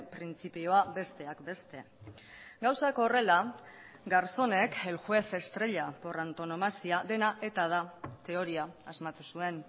printzipioa besteak beste gauzak horrela garzonek el juez estrella por antonomasia dena eta da teoria asmatu zuen